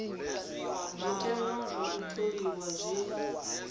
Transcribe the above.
zwiteṅwa zwa u tholiwa zwi